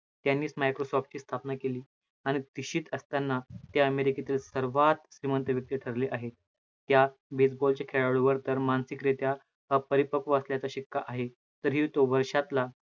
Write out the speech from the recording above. त्यांनीच microsoft ची स्थापना केली आणि तिशीत असताना ते अमेरिकेतील सर्वात श्रीमंत व्यक्ति ठरले आहे. या baseball च्या खेळाडूवर तर मानसिक रित्या अपरीपक्व असल्याचा शिक्का आहे. तरी तो वर्षातला